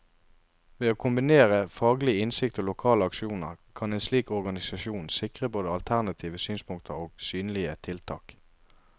Ved å kombinere faglig innsikt og lokale aksjoner, kan en slik organisasjon sikre både alternative synspunkter og synlige tiltak.